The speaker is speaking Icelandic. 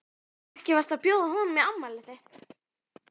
Ekki varstu að bjóða honum í afmælið þitt?